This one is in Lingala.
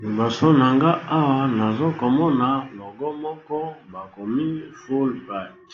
Liboso na nga awa nazo komona logo moko ba komi fulbert